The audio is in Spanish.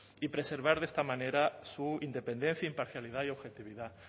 y preservar de esta manera su independencia imparcialidad y objetividad